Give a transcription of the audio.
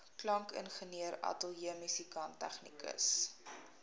klankingenieur ateljeemusikant tegnikus